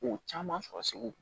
Ko caman sɔrɔ segu